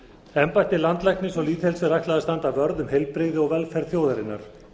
embætti landlæknis og lýðheilsu er ætlað að standa vörð um heilbrigði og velferð þjóðarinnar